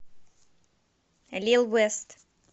лил вест